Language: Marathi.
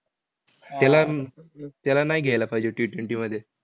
त्याला त्याला नाय घ्यायला पाहिजे Ttwenty मध्ये.